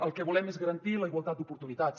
el que volem és garantir la igualtat d’oportunitats